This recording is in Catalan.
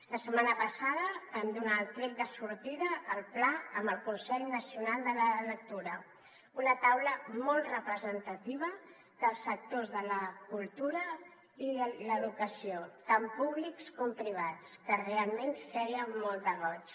la setmana passada vam donar el tret de sortida al pla amb el consell nacional de la lectura una taula molt representativa dels sectors de la cultura i l’educació tant públics com privats que realment feia molt de goig